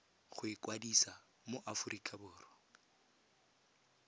go ikwadisa mo aforika borwa